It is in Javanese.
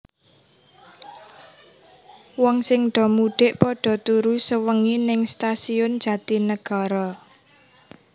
Wong sing do mudik podo turu sewengi ning Stasiun Jatinegara